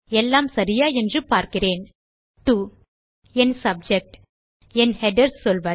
எல்லாம் சரியா என்று பார்க்கிறேன் டோ என் சப்ஜெக்ட் என் ஹெடர்ஸ் சொல்வது